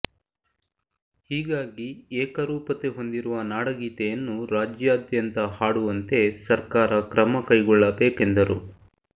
ಹೀಗಾಗಿ ಏಕರೂಪತೆ ಹೊಂದಿರುವ ನಾಡಗೀತೆಯನ್ನು ರಾಜ್ಯಾದ್ಯಂತ ಹಾಡುವಂತೆ ಸರ್ಕಾರ ಕ್ರಮಕೈಗೊಳ್ಳಬೇಕೆಂದರು